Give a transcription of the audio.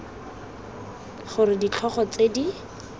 g r ditlhogo tse di